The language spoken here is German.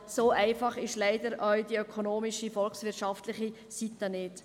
So einfach ist leider auch die ökonomische, volkswirtschaftliche Seite nicht.